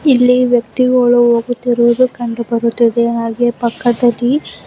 ಇಲ್ಲಿ ವ್ಯಕ್ತಿಗಳು ಹೋಗುತ್ತಿರುವುದು ಕಂಡು ಬರುತ್ತದೆ ಹಾಗೆ ಪಕ್ಕದಲ್ಲಿ.